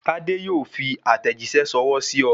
Tade yóò fi àtẹ̀jíṣẹ́ ṣọwọ́ sí ọ